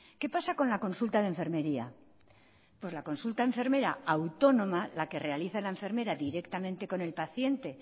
qué pasa con la consulta de enfermería pues la consulta enfermera autónoma la que realiza la enfermera directamente con el paciente